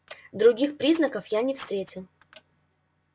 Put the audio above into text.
других признаков я не встретил